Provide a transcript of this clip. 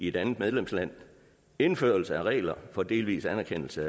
et andet medlemsland indførelse af regler for delvis anerkendelse